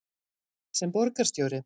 sem borgarstjóri?